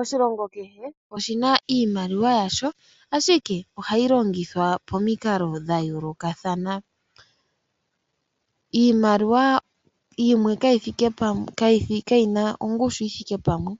Oshilongo kehe oshi na iimaliwa yasho, ashike ohayi longithwa pamikalo dha yoolokathana. Iimaliwa yimwe kayi thike pamwe, kayi na ongushu yi thike pamwe.